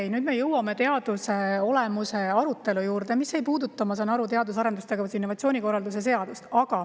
Okei, nüüd me jõuame teaduse olemuse arutelu juurde, mis ei puuduta, ma saan aru, teadus- ja arendustegevuse ning innovatsiooni korralduse seadust.